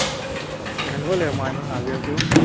সেনেকুৱাই লাগিব মই ইমান সাজু আছো।